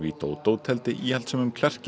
Widodo tefldi íhaldssömum